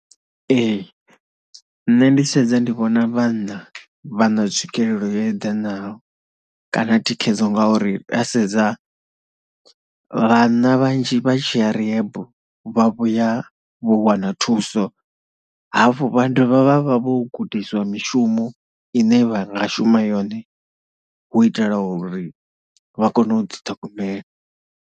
Ee nṋe ndi tshi sedza ndi vhona vhanna vha na tswikelelo yo eḓenaho kana thikhedzo ngauri ra sedza vhanna vhanzhi vha tshi ya rehab vha vhuya vho wana thuso, hafhu vha dovha vha vha vho gudiswa mishumo ine vha nga shuma yone, hu itela uri vha kone u ḓiṱhogomelo.